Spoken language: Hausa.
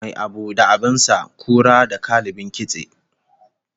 Mai abu da abin sa, kura da kallabin kitse